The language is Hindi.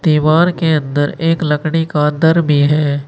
दीवार के अंदर एक लकड़ी का दर भी है।